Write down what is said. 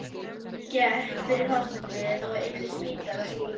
Gekk fyrir hornið og yfir Spítalastíg.